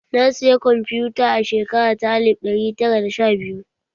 Na saya kwamfuta a shekara ta alif ɗari tara da sha biyu